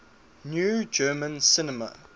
new german cinema